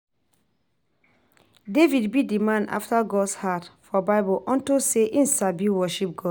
David be the man after God's heart for bible unto say he sabi worship God